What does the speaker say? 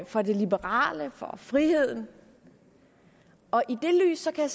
for det liberale for friheden og i det lys kan